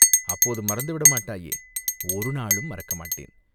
அப்போது மறந்துவிட மாட்டாயே?" "ஒரு நாளும் மறக்கமாட்டேன்.